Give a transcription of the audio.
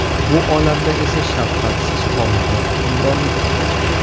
Bu olamda esa shafqatsiz qonunlar hukmronlik qiladi.